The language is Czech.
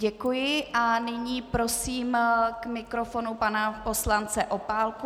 Děkuji a nyní prosím k mikrofonu pana poslance Opálku.